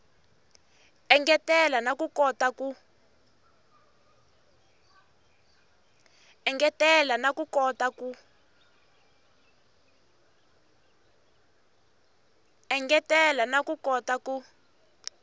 engetela na ku kota ku